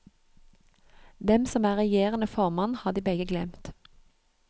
Hvem som er regjerende formann, har de begge glemt.